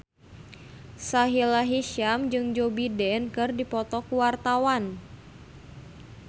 Sahila Hisyam jeung Joe Biden keur dipoto ku wartawan